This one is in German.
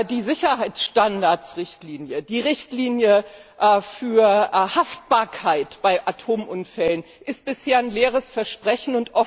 Die Sicherheitsstandards Richtlinie, die Richtlinie für Haftbarkeit bei Atomunfällen ist bisher nur ein leeres Versprechen.